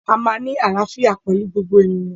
A máa ní àlàfíà pẹlú gbogbo ènìyàn